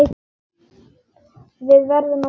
Við verðum að skilja það.